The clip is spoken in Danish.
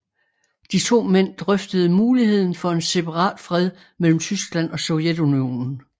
De to mænd drøftede muligheden for en separatfred mellem Tyskland og Sovjetunionen